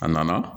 A nana